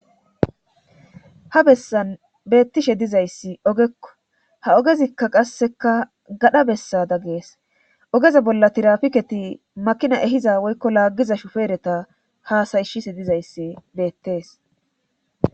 Ha bessan beettishe dizayssi ogekko ha ogezikka qasseka gadha bessa dag gees ogeza bolla tirafiketi makina ehiza woykko laaggiza shufeereta haasayishise dizayssi beettees.